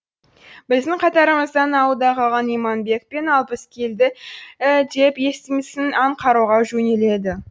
біздің катарымыздан ауылда қалған иманбек пен алпыс келді деп естимісің аң қарауға жөнеледі